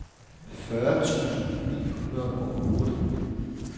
fyrre tusind ni hundrede og otte